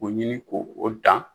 Ko ɲini ko o dan.